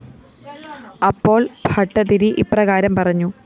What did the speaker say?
അപ്പോള്‍ ഭട്ടതിരി ഇപ്രകാരം പറഞ്ഞു